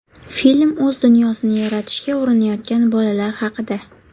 Film o‘z dunyosini yaratishga urinayotgan bolalar haqida.